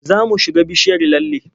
Za mu shuga bishiyar lalle.